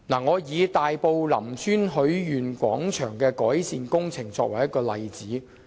我以大埔林村許願廣場的改善工程為例。